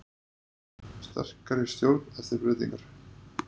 Sterkari stjórn eftir breytingar